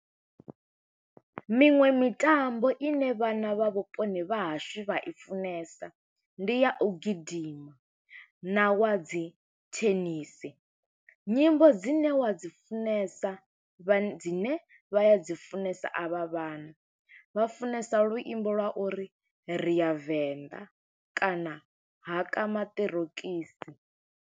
Miṅwe mitambo ine vhana vha vhuponi vha hashu vha i funesa, ndi ya u gidima, na wa dzi thenisi. Nyimbo dzine wa wa dzi funesa, vha dzine vha a dzi funesa a vha vhana, vha funesa luimbo lwa uri ri ya venḓa, kana haka maṱorokisi.